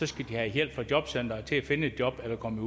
skal de have hjælp fra jobcenteret til at finde et job eller komme